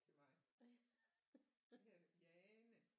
Til mig jeg hedder Jane